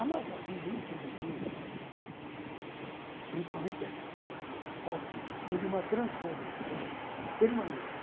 A nossa vida, infelizmente, principalmente aqui em São Paulo, foi de uma transformação permanente.